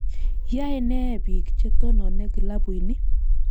Yae ne biik che tonone klabuini